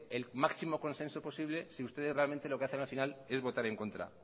el máximo consenso posible si ustedes realmente lo que hacen al final es votar en contra